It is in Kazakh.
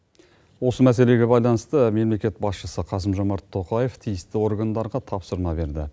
осы мәселеге байланысты мемлекет басшысы қасым жомарт тоқаев тиісті органдарға тапсырма берді